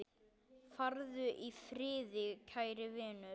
Farðu í friði, kæri vinur.